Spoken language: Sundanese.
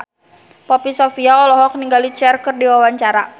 Poppy Sovia olohok ningali Cher keur diwawancara